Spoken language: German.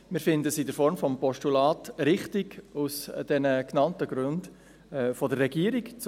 Wir finden es in der Form des Postulats aus den genannten Gründen der Regierung richtig.